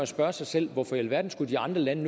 spørge sig selv hvorfor i alverden de andre lande